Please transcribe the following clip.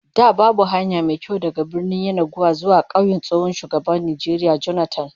Da babu hanya mai kyau daga Birnin Yenagoa zuwa kauyen tsohon shugaban Najeriya Jonathan